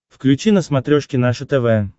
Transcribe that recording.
включи на смотрешке наше тв